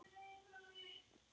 Ég vissi þetta um leið.